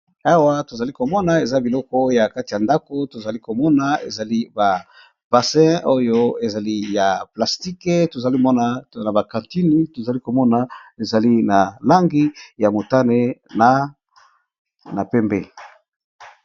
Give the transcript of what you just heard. Awa to zali ko mona eza biloko ya kati ya ndako to zali ko mona ezali ba bassin oyo ezali ya plastique, to zali ko mona ba cantine, tozali komona ezali na langi ya motane na pembe .